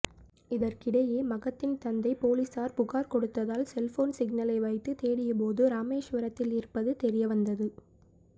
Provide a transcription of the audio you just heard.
இதற்கிடையே மகத்தின் தந்தை பொலிஸார் புகார் கொடுத்ததால் செல்போன் சிக்னலை வைத்து தேடியபோது ராமேஸ்வரத்தில் இருப்பது தெரியவந்தது